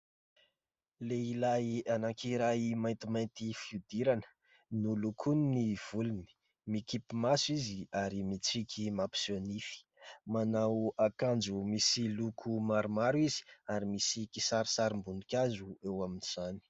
Lehilahy anankiray maintimainty fihodirana. Nolokoiny ny volony. Mikipy maso izy ary mitsiky mampiseho nify. Manao akanjo misy loko maromaro izy ary misy kisarisarim-boninkazo eo amin'izany.